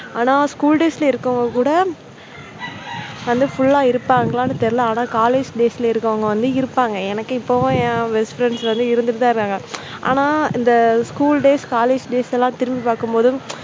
ஆனால், school days ல இருக்கிறவங்க கூட வந்து full லா இருப்பாங்களானு தெரியல ஆனா college days ல இருக்கிறவங்க வந்து இருப்பாங்க. எனக்கே இப்போ best friends வந்து இருந்துட்டு தான் இருக்காங்க. ஆனா இந்த school days college days எல்லாம் திரும்பி பார்க்கும் போது